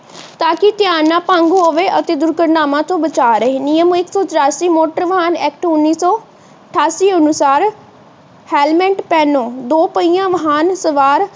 ਤਾਕਿ ਧਿਆਨ ਨਾ ਭੰਗ ਹੋਵੇ ਅਤੇ ਦੁਰਘਟਨਾਵਾਂ ਤੋਂ ਬਚਾ ਰਹੇ। ਨਿਯਮ ਇੱਕ ਸੌ ਚੁਰਾਸੀ ਮੋਟਰ ਵਾਹਨ ਐਕਟ ਉੱਨੀ ਸੌ ਅਠਾਸੀ ਅਨੁਸਾਰ ਹੈਲਮੇਟ ਪਹਿਨੋ। ਦੋ ਪਹੀਆ ਵਾਹਨ ਸਵਾਰ